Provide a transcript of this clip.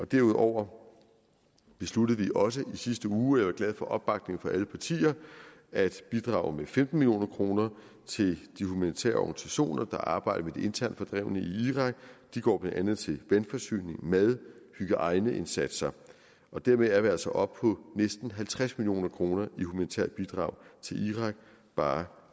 derudover besluttede vi også i sidste uge jeg var glad for opbakningen fra alle partier at bidrage med femten million kroner til de humanitære organisationer der arbejder med de internt fordrevne i irak de går blandt andet til vandforsyning mad hygiejneindsatser og dermed er vi altså oppe på næsten halvtreds million kroner i humanitære bidrag til irak bare